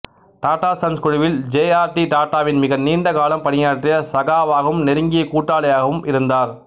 Tata sons குழுவில் J R D டாடாவுடன் மிக நீண்ட காலம் பணியாற்றிய சகாவாகவும் நெருங்கிய கூட்டாளியாகவும் இருந்தார்